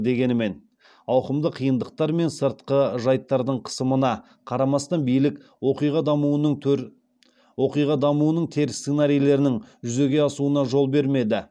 дегенмен ауқымды қиындықтармен сыртқы жайттардың қысымына қарамастан билік оқиға дамуының теріс сценарийлерінің жүзеге асуына жол бермеді